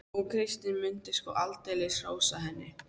Og Kristín mundi sko aldeilis hrósa henni.